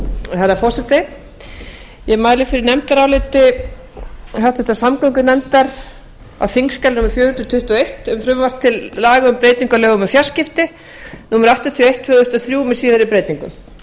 herra forseti ég mæli fyrir nefndaráliti háttvirtrar samgöngunefndar á þingskjali númer fjögur hundruð tuttugu og eitt um frumvarp til laga um breytingu á lögum um fjarskipti númer áttatíu og eitt tvö þúsund og þrjú með síðari breytingum